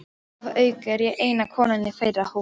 Að auki er ég eina konan í þeirra hópi.